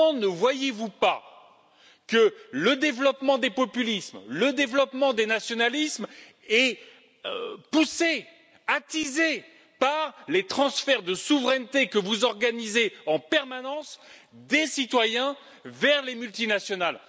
Comment ne voyez vous pas que le développement des populismes, le développement des nationalismes est poussé, attisé par les transferts de souveraineté que vous organisez en permanence des citoyens vers les multinationales?